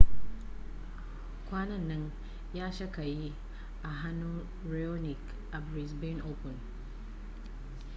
kwanan nan ya sha kayi a hannun raonic a brisbane open